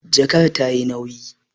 Jakar ta yi nauyi